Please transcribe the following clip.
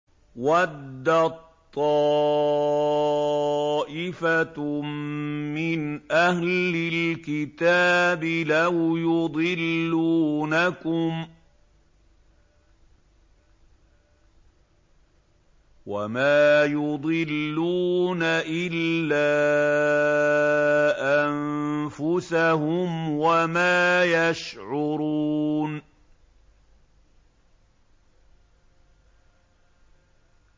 وَدَّت طَّائِفَةٌ مِّنْ أَهْلِ الْكِتَابِ لَوْ يُضِلُّونَكُمْ وَمَا يُضِلُّونَ إِلَّا أَنفُسَهُمْ وَمَا يَشْعُرُونَ